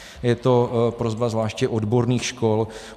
Je to prosba zvláště odborných škol.